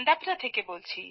দানদাপরা থেকে